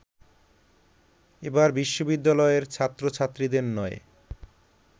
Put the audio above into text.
এবার বিশ্ববিদ্যালয়ের ছাত্রছাত্রীদের নয়